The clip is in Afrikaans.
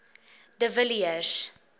de villiers